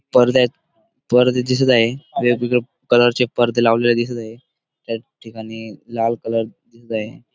पडद्यात पडदे दिसत आहे वेगळे कलरचे पडदे लावलेले दिसत आहे त्या ठिकाणी लाल कलर दिसत आहे.